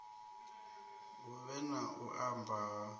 huvhe na u mba ha